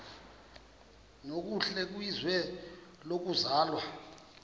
nokuhle kwizwe lokuzalwa